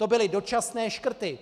To byly dočasné škrty.